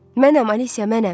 Mənəm Alisya, mənəm.